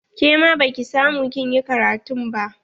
Ke ma baki samu kin yi ƙaratun ba?